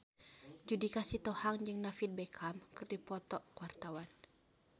Judika Sitohang jeung David Beckham keur dipoto ku wartawan